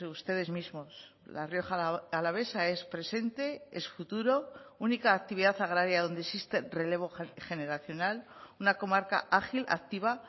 ustedes mismos la rioja alavesa es presente es futuro única actividad agraria donde existe relevo generacional una comarca ágil activa